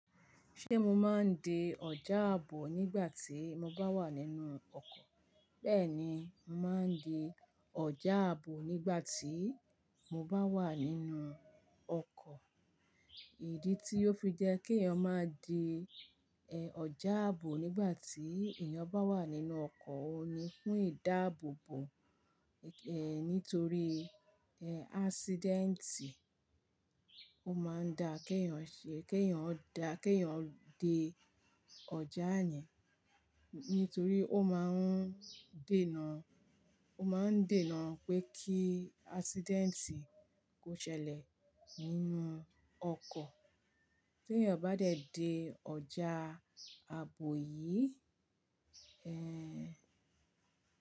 Ṣé mo máa ń di ọjà àbò nígbà tí mo bá wà nínú ọkọ̀? Bẹ́ẹ̀ni, màá ń di ọjà àbò nígbà tí mo bá wà nínú ọkọ̀. Ìdí tí ó fi jẹ́ kí èèyàn máa di, ẹ́, ọjà àbò nígbà tí èèyàn bá wà nínú ọkọ̀, òun ni fún ìdáàbòbò, ẹ́, nítorí, ẹ́, accidenti. Ó máa ń dá kí èèyàn ṣe, kí èèyàn dá, kí èèyàn de ọjà yẹn. Nítorí ó máa ń dènà, ó máa ń dènà pé kí accidenti kó ṣẹlẹ̀ nínú ọkọ̀. Tí èèyàn bá dẹ̀ di ọjà àbò yìí, ẹ́,